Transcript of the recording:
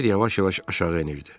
Kiber yavaş-yavaş aşağı enirdi.